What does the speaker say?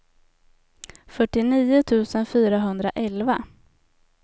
fyrtionio tusen fyrahundraelva